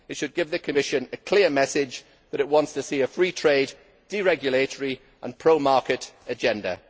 It should give the Commission a clear message that it wants to see a free trade, deregulatory and pro market agenda.